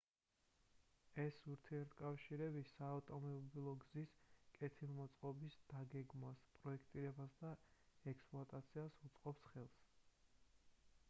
ეს ურთიერთკავშირები საავტომობილოგზის კეთილმოწყობის დაგეგმვას პროექტირებასა და ექსპლუატაციას უწყობს ხელს